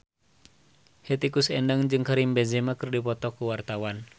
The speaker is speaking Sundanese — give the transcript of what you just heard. Hetty Koes Endang jeung Karim Benzema keur dipoto ku wartawan